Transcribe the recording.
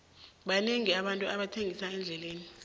banengi abantu abathengisa endleleni